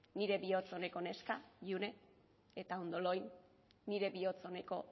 nire bihotz oneko neska june eta ondo lo egin nire bihotz oneko